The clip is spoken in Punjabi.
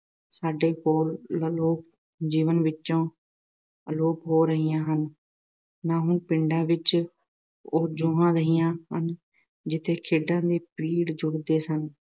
ਸਾਡੇ ਕੋਲ ਵੱਲੋਂ ਜੀਵਨ ਵਿੱਚੋਂ ਅਲੋਪ ਹੋ ਰਹੀਆਂ ਹਨ। ਨਾ ਹੁਣ ਪਿੰਡਾਂ ਵਿੱਚ ਉਹ ਜੂਹਾਂ ਰਹੀਆਂ ਹਨ ਜਿੱਥੇ ਖੇਡਾਂ ਦੇ ਪਿੜ ਜੁੜਦੇ ਸਨ